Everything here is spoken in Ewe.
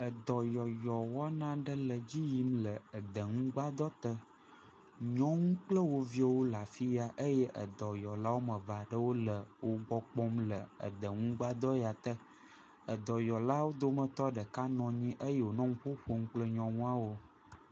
Edɔyɔyɔ wɔna aɖe le edzi yim le edeŋugbadɔte. Nyɔnu kple wo viwo le afi ya eye edɔyɔla woame eve aɖewo le wogbɔ kpɔm le edeŋugbadɔ ya te. Edɔyɔlawo dometɔ ɖeka nɔ anyi eye wònɔ nu ƒo ƒom kple nyɔnuawo.